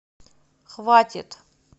хватит